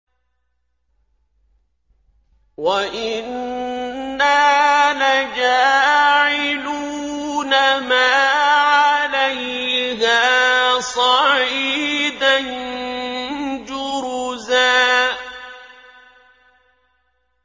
وَإِنَّا لَجَاعِلُونَ مَا عَلَيْهَا صَعِيدًا جُرُزًا